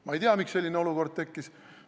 Ma ei tea, miks selline olukord tekkis.